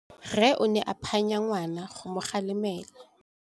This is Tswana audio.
Rre o ne a phanya ngwana go mo galemela.